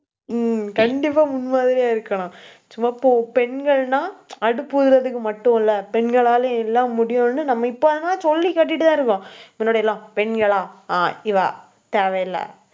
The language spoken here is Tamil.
உம் கண்டிப்பா, முன் மாதிரியா இருக்கணும். சும்மா போ~ பெண்கள்னா, அடுப்பு ஊதுறதுக்கு மட்டும் இல்லை. பெண்களாலேயும், எல்லாம் முடியுன்னு, நம்ம இப்போதான், சொல்லிக் காட்டிட்டுதான் இருக்கோம். பின்னாடி எல்லாம், பெண்களா ஆஹ் இவா, தேவை இல்லை.